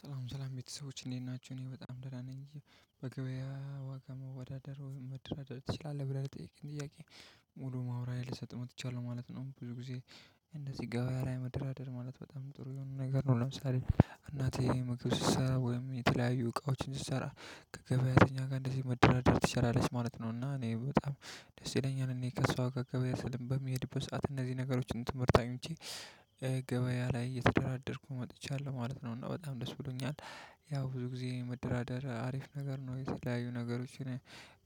ሰላም ሰላም ቤተሰቦች እንዴት ናቸው? እኔ በጣም ደህና ነኝ እየ በገበያ ዋጋ መወዳደር መደራደር ትችላለህ ብለህ ልጠይቅህ ጥያቄ ሙሉ ማውራት ልሰጥ መጥቻለሁ ማለት ነው። ብዙ ጊዜ እነዚህ ጋር ላይ መደራደር ማለት በጣም ጥሩ የሆኑ ነገር ነው። ለምሳሌ እናቴ መግብት ስሰራ ወይም የተለያዩ እቃዎችን ስሰራ ከገበያተኛ ጋር እንደዚህ መደራደር ትችላለች ማለት ነው። እና እኔ በጣም ደስ ይለኛል እኔ ከሷ ገብያ በሚሄድበት ሰዓት እነዚህ ነገሮችን ትምህርት አይንቼ ገበያ ላይ እየተደራደርኩ መጥቻለሁ ማለት ነው። እና በጣም ደስ ብሎኛል። ያው ብዙ ጊዜ መደራደር አሪፍ ነገር ነው የተለያዩ ነገሮችን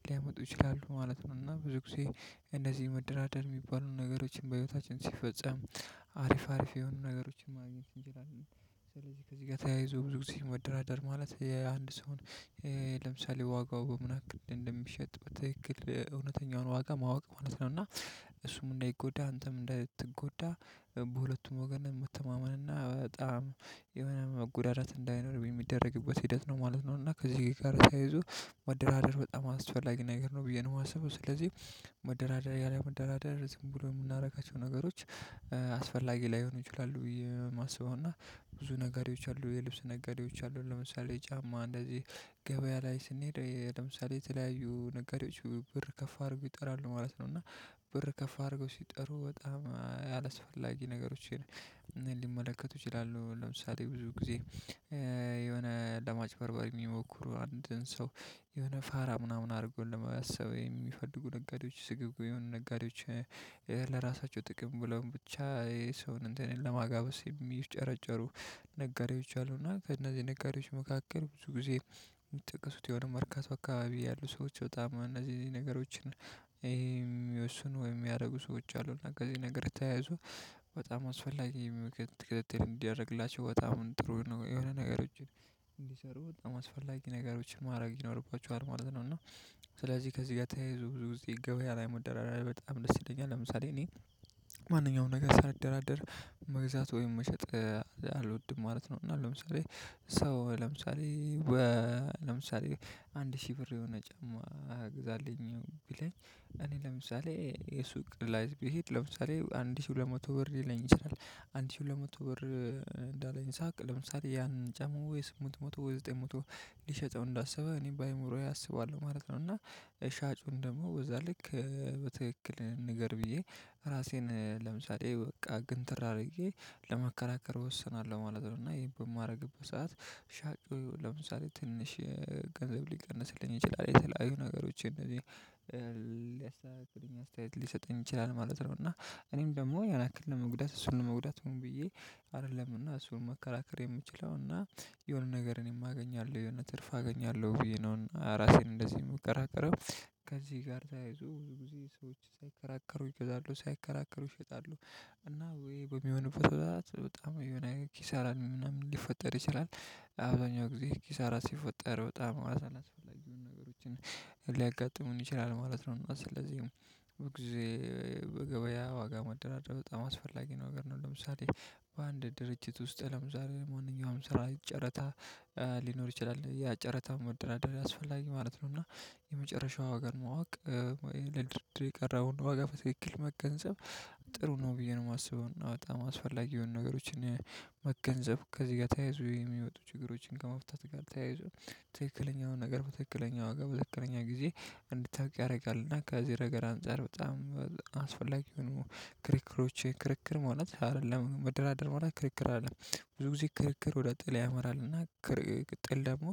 ሊያመጡ ይችላሉ ማለት ነው። እና ብዙ ጊዜ እነዚህ መደራደር የሚባሉን ነገሮችን በህይወታችን ሲፈጸም አሪፍ አሪፍ የሆኑ ነገሮችን ማግኘት እንችላለን። ስለዚህ ከዚህ ጋር ተያይዞ ብዙ ጊዜ መደራደር ማለት የአንድ ሰውን ለምሳሌ ዋጋው በምን ያክል እንደሚሸጥ በትክክል እውነተኛውን ዋጋ ማወቅ ማለት ነው። እና እሱም እንዳይጎዳ አንተም እንዳትጎዳ በሁለቱም ወገን መተማመን እና በጣም የሆነ መጎዳደት እንዳይኖር የሚደረግበት ሂደት ነው ማለት ነው። እና ከዚህ ጋር ሳይዙ መደራደር በጣም አስፈላጊ ነገር ነው ብዬ ነው የማስበው። ስለዚህ መደራደሪያ ላይ መደራደር ዝም ብሎ የምናደርጋቸው ነገሮች አስፈላጊ ላይሆኑ ይችላሉ የማስበው። እና ብዙ ነጋዴዎች አሉ የልብስ ነጋዴዎች አሉ ለምሳሌ ጫማ እንደዚህ ገበያ ላይ ስንሄድ ለምሳሌ የተለያዩ ነጋዴዎች ብር ከፍ አድርገው ይጠራሉ ማለት ነው። እና ብር ከፍ አድርገው ሲጠሩ በጣም አላስፈላጊ ነገሮችን ሊመለከቱ ይችላሉ ለምሳሌ ብዙ ጊዜ የሆነ ለማጭበርበር የሚሞክሩ አንድን ሰው የሆነ ፋራ ምናምን አድርጎ ለመባሰብ የሚፈልጉ ነገሮች ስግብጉ የሆኑ ነጋዴዎች። ለራሳቸው ጥቅም ብለው ብቻ ይሄ ሰውን እንትን ለማጋበስ የሚጨረጨሩ ነጋዴዎች አሉና ከነዚህ ነጋዴዎች መካከል ብዙ ጊዜ የምትጠቀሱት የሆነ መርካቶ አካባቢ ያሉ ሰዎች በጣም እነዚህ ነገሮችን ይሄም የሚወስኑ ወይም የሚያደርጉ ሰዎች አሉና ከዚህ ነገር የተያዙ በጣም አስፈላጊ። ክትትል እንዲያደርግላቸው በጣም ጥሩ ነው የሆነ ነገሮችን እንዲሰሩ በጣም አስፈላጊ ነገሮችን ማድረግ ይኖርባቸዋል ማለት ነው። እና ስለዚህ ከዚህ ጋር ተያይዞ ብዙ ጊዜ ገበያ ላይ መደራረር በጣም ደስ ይለኛል ለምሳሌ እኔ ማንኛውም ነገር ሳልደራደር መግዛት ወይም መሸጥ አልወድም ማለት ነው። እና ለምሳሌ ሰው ለምሳሌ ለምሳሌ አንድ ሺህ ብር የሆነ ጫማ ግዛልኝ ብለኝ እኔ ለምሳሌ የሱቅ ላይዝ ቢሄድ ለምሳሌ አንድ ሺህ ሁለት መቶ ብር ሊለኝ ይችላል አንድ ሺህ ሁለት መቶ ብር እንዳለኝ ሳቅ ለምሳሌ ያን ጫማ ወይ ስምንት መቶ ወይ ዘጠኝ መቶ ሊሸጠው እንዳሰበ እኔ በአእምሮዬ አስባለሁ ማለት ነው። እና ሻጩን ደግሞ በዛ ልክ በትክክል ንገር ብዬ ራሴን ለምሳሌ በቃ ግን ትር አድርጌ ለመከራከር ወስናለሁ ማለት ነው። እና ይሄን በማደርግበት ሰዓት ሻጩ ለምሳሌ ትንሽ ገንዘብ ሊቀንስልኝ ይችላል የተለያዩ ነገሮችን እንደዚህ ሊያስተዋውቅልኝ አስተያየት ሊሰጠኝ ይችላል ማለት ነው። እና እኔም ደግሞ ያን አክል ለመጉዳት እሱን ለመጉዳት ሆን ብዬ አይደለም እና እሱን መከራከር የምችለው እና የሆነ ነገር እኔም አገኛለሁ የሆነ ትርፍ አገኛለሁ ብዬ ነው ራሴን እንደዚህ የሚከራከረው። ከዚህ ጋር ተያይዞ ብዙ ጊዜ ሰዎች ሳይከራከሩ ይገዛሉ ሳይከራከሩ ይሸጣሉ። እና ወይ በሚሆንበት በጣም የሆነ ኪሳራን ምናምን ሊፈጠር ይችላል አብዛኛው ጊዜ ኪሳራ ሲፈጠር በጣም አላስፈላጊውን ነገሮችን ሊያጋጥሙን ይችላል ማለት ነው። እና ስለዚህ ጊዜ በገበያ ዋጋ ማደራደር በጣም አስፈላጊ ነው። ለምሳሌ በአንድ ድርጅት ውስጥ ለምሳሌ መሆንኛውን ስራ ጨረታ ሊኖር ይችላል ያ ጨረታ መደራደር አስፈላጊ ማለት ነው። እና የመጨረሻው ዋጋን ማወቅ ለድርድር የቀረበውን ዋጋ በትክክል መገንዘብ ጥሩ ነው ብዬ ነው የማስበው። በአ የማስፈልገው ነገሮችን መገንዘብ ከዚህ ጋር ተያይዞ የሚወጡ ችግሮችን ከመፍታት ጋር ተያይዞ ትክክለኛውን ነገር በትክክለኛው ዋጋ በትክክለኛ ጊዜ እንድታውቅ ያደርጋል። እና ከዚህ ረገር አንፃር በጣም አስፈላጊ የሆኑ ክሪክሮች ክርክር ማለት አይደለም መደራደር ማለት ክርክር አይደለም። ብዙ ጊዜ ክርክር ወደ ጥል ያመራል። እና ጥል ደግሞ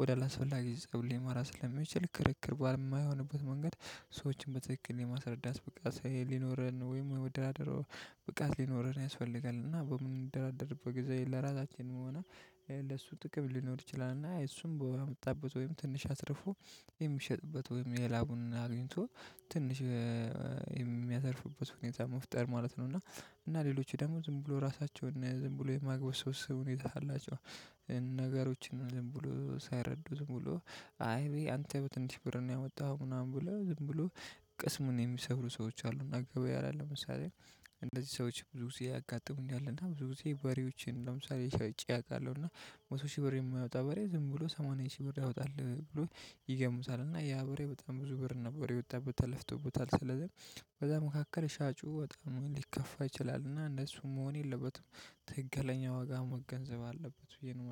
ወደ አላስፈላጊ ፀብ ሊማራ ስለሚችል ክርክር ባልማይሆንበት መንገድ ሰዎችን በትክክል የማስረዳት ብቃት ሊኖረን ወይም ወደራደረው ብቃት ሊኖረን ያስፈልጋል። እና በምንደራደርበት ጊዜ ለራሳችን መሆኑ ለሱ ጥቅም ሊኖር ይችላል። እና እሱም በመጣበት ወይም ትንሽ አትርፎ የሚሸጥበት ወይም የላቡን አግኝቶ ትንሽ የሚያተርፍበት ሁኔታ መፍጠር ማለት እና። እና ሌሎች ደግሞ ዝም ብሎ ራሳቸውን ዝም ብሎ የማግበስበስ ሁኔታ አላቸው። ነገሮችን ዝም ብሎ ሳይረዱ ዝም ብሎ አይ ወይ አንተ በትንሽ ብር ነው ያወጣኸው ምናምን ብሎ ዝም ብሎ ቅስሙን የሚሰብሩ ሰዎች አሉ። እና ገበያ ላይ ለምሳሌ እንደዚህ ሰዎች ብዙ ጊዜ ያጋጥሙኝ አለና ብዙ ጊዜ በሬዎችን ለምሳሌ ሸጨ አውቃለሁ። እና መቶ ሺህ ብር የማያወጣ በሬ ዝም ብሎ ሰማንያ ሺህ ብር ያወጣል ብሎ ይገሙታል እና ያ ብሬ በጣም ብዙ ብር ነበር የወጣበት ተለፍቶበታል ስለዚህ። በዛ መካከል ሻጩ በጣም ሊከፋ ይችላል እና እነሱ መሆን የለበትም ትግለኛ ዋጋ መገንዘብ አለበት ብዬ ነው